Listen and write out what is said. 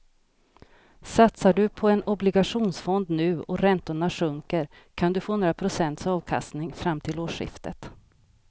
Satsar du på en obligationsfond nu och räntorna sjunker kan du få några procents avkastning fram till årsskiftet.